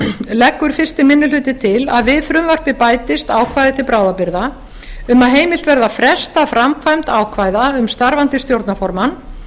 leggur fyrsti minni hluti til að við frumvarpið bætist ákvæði til bráðabirgða um að heimilt verði að fresta framkvæmd ákvæða um starfandi stjórnarformann